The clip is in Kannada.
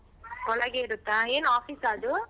ಒಳಗೆ ಇರತ್ತ ಏನ್ office ಆ ಅದು?